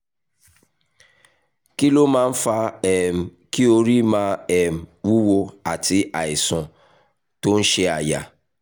kí ló máa ń fa um kí orí máa um wúwo àti àìsàn tó ń ṣe àyà?